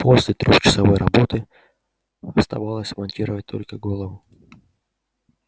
после трёхчасовой работы оставалось смонтировать только голову